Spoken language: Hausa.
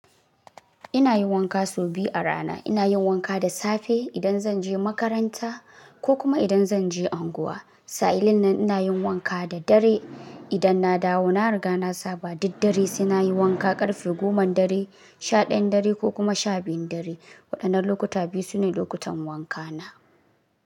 Ina yin wanka sau biyu a rana. Ina yin wanka da safe idan zan je makaranta ko kuma idan zan je unguwa. Sa'ilin nan ina yin wanka da dare idan na dawo. Na riga na saba duk dare, sai na yi wanka ƙarfe goman dare, sha ɗayan dare ko kuma sha biyun dare. Waɗannan lokuta biyu sune lokutan wanka na.